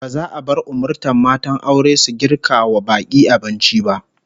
Ba za a bar umurtan matan aure su girka wa bak'i abinci ba